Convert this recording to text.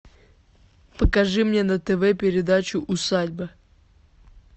покажи мне на тв передачу усадьба